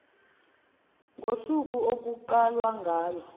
ngosuku okuqala ngalo